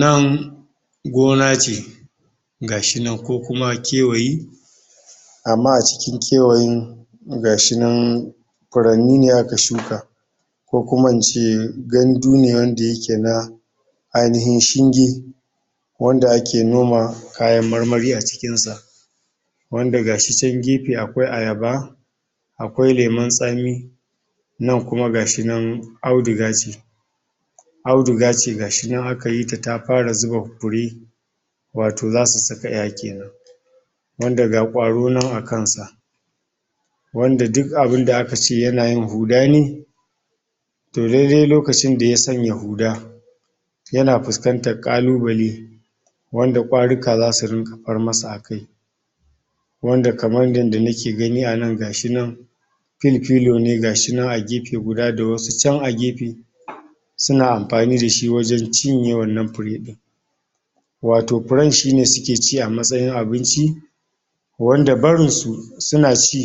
nan gona ce gashi nan ko kuma kewayi amma acikin kewayi gashi nan furanyi ne aka shuka kokuma ince gandu ne wanda yake na ainihin shinge wanda ake noma kayan marmari acikinsa wanda gashi chan gefe akwai ayaba akwai lemun tsami nan kuma gashi nan auduga ce audugace gashinan akayita ta fara zuba fure wato zasu saka kenan ƴaya kenan wanda ga kwaro nan akansa wanda duk abinda akace yana yin hudani toh daidai lokacinda ya sanya huda yana fuskantar ƙalubale wanda kwaruka zasu dinga far masa akai waanda kamar yanda nake gani anan gashi nan filfilo ne gashinan a gefe guda ga wasu chan agefe suna amfanidashi wajan cinye wannan furedin wato furan shine suke ci a matsayin abinci wanda barinsu suna ci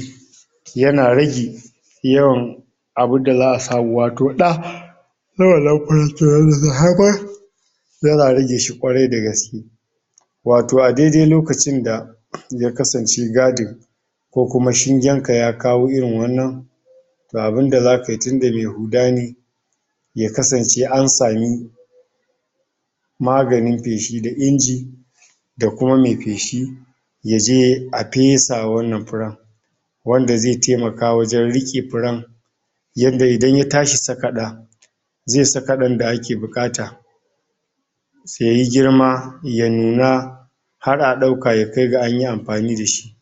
yana rage yawan abunda zaʼa samu wato ɗa yana rageshi kyarai da gaske wato adaidai lokacinda ya kasance gadin kokuma shingenka ya kawo irin wannan ga abunda zakayi tunda me huda ne ya kasance an sami maganin feshi da inji da kuma me feshi yaje a fesa wa wannan furan wanda ze taimaka wajan rike furan yanda idan ya tashi sakaɗa ze saka ɗa da ake bukata se yayi girma ya nuna har adaauka yakai ga ayi amfani dashi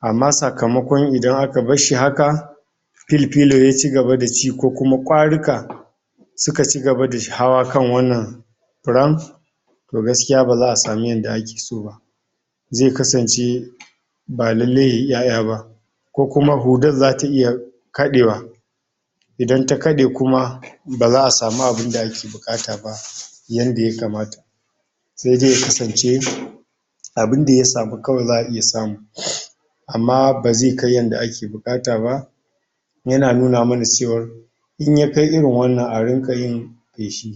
amma sakamakon idan aka barshi haka filfilo ya cigaba da ci ko kuma kwaruka suka cigaba da hawa kan wannan furan toh gaskiya bazaʼa samu yanda akesoba ze kasance ba lallai yayi ƴ aya ba kokuma furar zata iya kadewa idan ta kade kuma bazaʼ a samu abinda ake bukata yanda ya kamata saide ya kasance abinda yasamu kawai zaʼa iya samu amma beze kai yanda ake bukataba yana nuna mana cewar inyakai irin wannan a rinkayi feshi